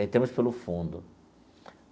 Entramos pelo fundo.